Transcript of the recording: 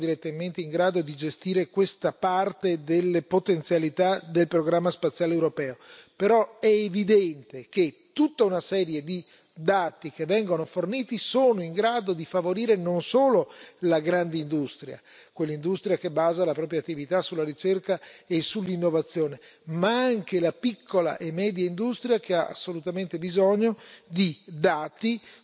Anche se non sono direttamente in grado di gestire questa parte delle potenzialità del programma spaziale europeo, è evidente che tutta una serie di dati che vengono forniti sono in grado di favorire non solo la grande industria, quell'industria che basa la propria attività sulla ricerca e sull'innovazione, ma anche la piccola e media industria, che ha assolutamente bisogno di dati